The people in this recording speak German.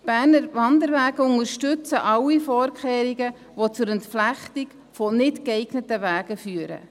Die Berner Wanderwege unterstützen alle Vorkehrungen, die zur Entflechtung nicht geeigneter Wege führen.